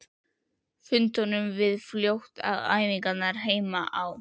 Fundum við fljótt að æfingarnar heima á